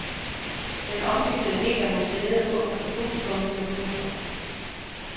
Den ombyggede del af museet åbner for publikum til oktober.